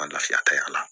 Ŋa lafiya ta y'a la